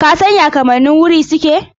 Ka san ya kamannin wuri suke?